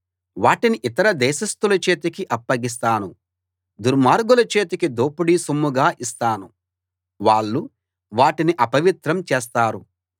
వాటిని ఇతర దేశస్తుల చేతికి అప్పగిస్తాను దుర్మార్గుల చేతికి దోపిడీ సొమ్ముగా ఇస్తాను వాళ్ళు వాటిని అపవిత్రం చేస్తారు